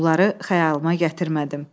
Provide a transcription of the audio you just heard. Bunları xəyalıma gətirmədim.